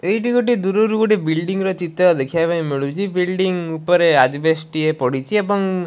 ଏଇଟି ଗୋଟେ ଦୂରରୁ ଗୋଟେ ବିଲଡିଂ ଚିତ୍ର ଦେଖିବାକୁ ମିଳୁଚି। ବିଲଡିଂ ଉପରେ ଆଜବେଷ୍ଟ ଟିଏ ପଡିଚି ଏବଂ --